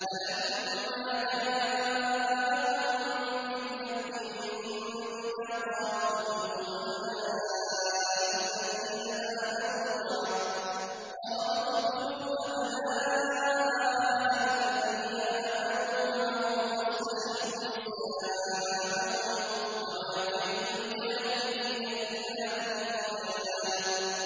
فَلَمَّا جَاءَهُم بِالْحَقِّ مِنْ عِندِنَا قَالُوا اقْتُلُوا أَبْنَاءَ الَّذِينَ آمَنُوا مَعَهُ وَاسْتَحْيُوا نِسَاءَهُمْ ۚ وَمَا كَيْدُ الْكَافِرِينَ إِلَّا فِي ضَلَالٍ